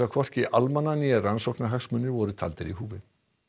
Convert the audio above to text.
hvorki almanna né rannsóknarhagsmunir voru taldir í húfi